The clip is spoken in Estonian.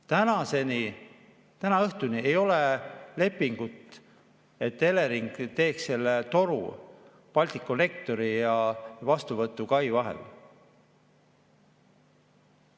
Tänaseni, täna õhtul veel ei ole lepingut, et Elering teeks selle toru Balticconnectori ja vastuvõtukai vahel.